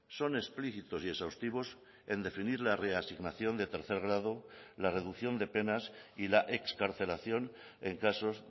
son explícitos y exhaustivos en definir la reasignación de tercer grado la reducción de penas y la excarcelación en casos